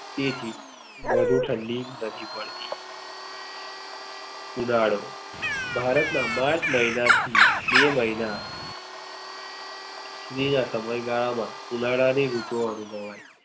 તેથી વધુ ઠંડી નથી પડતી ઉનાળો ભારત માં માર્ચ મહિના થી બે મહિના બીજા સમય ગાલા માં ઉનાળા ની ઋતુ અનુભવાય છે.